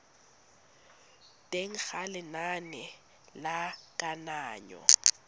teng ga lenane la kananyo